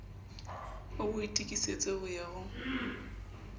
ho boitokisetso ho ya ho